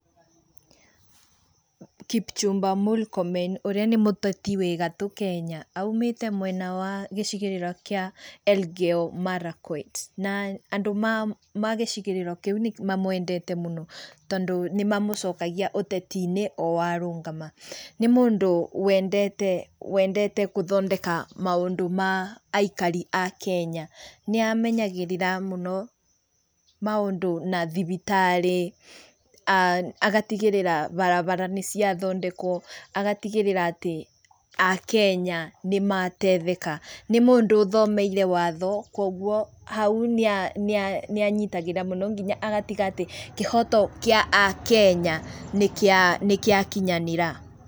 Kipchumba Murkomen ũrĩa nĩ mũteti wĩgatu Kenya, aumĩte mwena wa gĩcigĩrĩra kĩa Elgeyo Marakwet, na andũ a ngĩcigĩrĩrwo kĩu nĩ mamwendete mũno tũndo nĩmamocokangia ũteti-inĩ o arũgama. Nĩ mũndũ wendete gũthondeka maũndu ma aikari a Kenya, nĩ amenyagĩrĩra mũno maũndu na thibitari, aah agatigíríra barabara nĩciathondekwo, agatigĩrĩra atĩ a Kenya nĩ mateithĩka. nĩ mũndũ othomeirĩ watho kwoguo hau nĩ anyitagĩrĩra mũno nginya agatiga atĩ kĩhoto gĩa a Kenya nĩgĩakinyanĩra.